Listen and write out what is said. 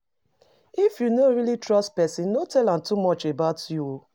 If you no really trust person, no tell am too much about yourself